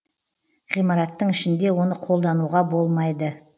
ғимараттың ішінде оны қолдануға болмайды